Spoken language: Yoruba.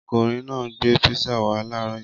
Ọkùnrin náà gbé písà wá láàárọ̀ yìí.